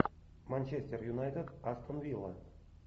манчестер юнайтед астон вилла